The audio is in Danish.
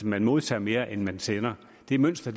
man modtager mere end man sender det mønster